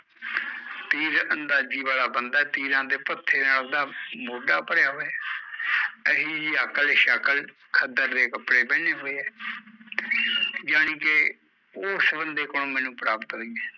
ਤੀਰਅੰਦਾਜ਼ੀ ਵਾਲਾ ਤੀਰਾਂ ਦੇ ਪੱਥੇ ਨਾਲ਼ ਓਹਦਾ ਮੋਡਾ ਭਰਿਆ ਹੋਇਆ ਐ ਏਹੀ ਜਹੀ ਅਕਲ ਸ਼ਕਲ ਖੱਦਰ ਦੇ ਕੱਪੜੇ ਪਹਿਨੇ ਹੋਏ ਐ ਯਾਨੀਕਿ ਓਸ ਬੰਦੇ ਕੋਲੋਂ ਮੈਂਨੂੰ ਪ੍ਰਾਪਤ ਹੋਈ ਐ